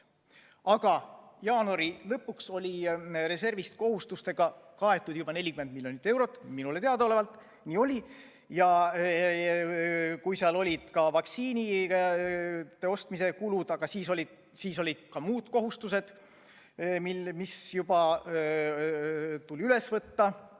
Aga jaanuari lõpuks oli reservist kohustustega kaetud juba 40 miljonit eurot – minule teadaolevalt nii oli – ja seal olid ka vaktsiinide ostmise kulud ning ka muud kohustused, mis tuli üle võtta.